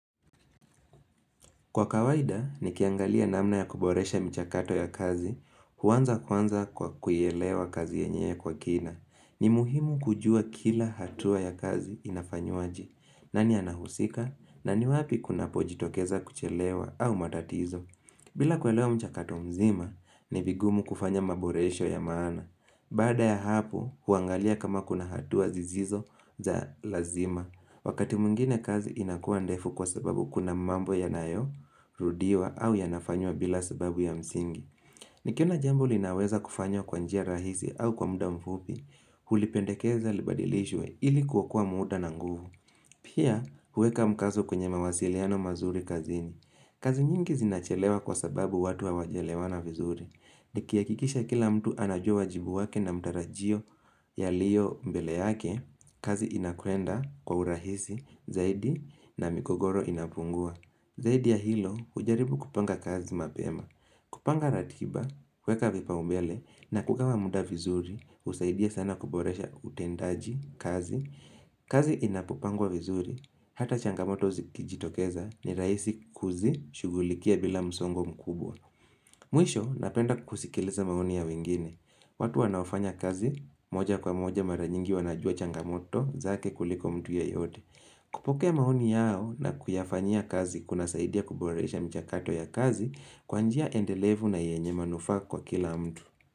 Kwa kawaida, nikiangalia namna ya kuboresha mchakato ya kazi, huanza kwanza kwa kuielewa kazi yenyewe kwa kina. Ni muhimu kujua kila hatua ya kazi inafanywaje. Nani anahusika, na ni wapi kunapojitokeza kuchelewa au matatizo. Bila kuelewa mchakato mzima, ni vigumu kufanya maboresho ya maana. Baada ya hapo, huangalia kama kuna hatua zisizo za lazima. Wakati mwingine kazi inakuwa ndefu kwa sababu kuna mambo yanayorudiwa au yanafanywa bila sababu ya msingi. Nikiona jambo linaweza kufanywa kwa njia rahisi au kwa muda mfupi, hulipendekeza libadilishwe ili kuokoa muda na nguvu. Pia, huweka mkazo kwenye mawasiliano mazuri kazini. Kazi nyingi zinachelewa kwa sababu watu hawajaelewana vizuri. Nikihakikisha kila mtu anajua wajibu wake na matarajio yaliyo mbele yake, kazi inakuenda kwa urahisi zaidi na migogoro inapungua. Zaidi ya hilo ujaribu kupanga kazi mapema, kupanga ratiba, kueka vipaumbele na kugawa muda vizuri husaidia sana kuboresha utendaji kazi. Kazi inapopangwa vizuri hata changamoto zikijitokeza ni rahisi kuzishughulikia bila msongo mkubwa. Mwisho napenda kusikiliza maoni ya wengine. Watu wanaofanya kazi moja kwa moja mara nyingi wanajua changamoto zake kuliko mtu yeyote. Kupokea maoni yao na kuyafanyia kazi kunasaidia kuboresha mchakato ya kazi kwa njia endelevu na yenye manufaa kwa kila mtu.